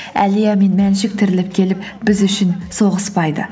әлия мен мәншүк тіріліп келіп біз үшін соғыспайды